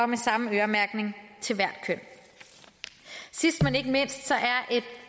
med samme øremærkning til hvert køn sidst men ikke mindst er et